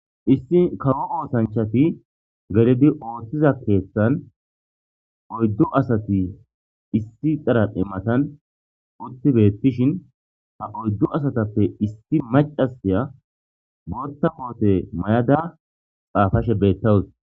issi kawo oosanchati ge'idi ooththiza keeththan oyddu asati issi xaran imatan utti beettishin ha oyddu asatappe issi macasiya bootta koote may7ada xaafashe bettawus